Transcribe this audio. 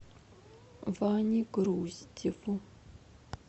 ване груздеву